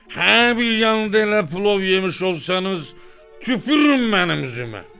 Hə, bir yanda elə plov yemiş olsanız, tüpürün mənim üzümə.